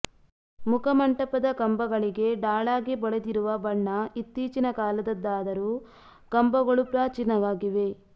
ಮುಖಮಂಟಪದ ಕಂಬಗಳಿಗೆ ಡಾಳಾಗಿ ಬಳಿದಿರುವ ಬಣ್ಣ ಇತ್ತೀಚಿನ ಕಾಲದ್ದಾದರೂ ಕಂಬಗಳು ಪ್ರಾಚೀನವಾಗಿವೆ